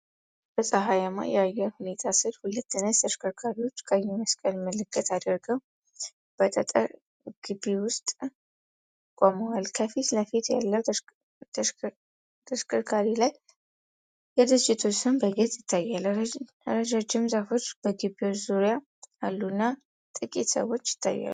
በፀሐያማ የአየር ሁኔታ ስር ሁለት ነጭ ተሽከርካሪዎች ቀይ መስቀል ምልክት አድርገው በጠጠር ግቢ ውስጥ ቆመዋል። ከፊት ለፊት ያለው ተሽከርካሪ ላይ የድርጅቱ ስም በግልጽ ይታያል። ረጃጅም ዛፎች በግቢው ዙሪያ አሉና ጥቂት ሰዎች ይታያሉ።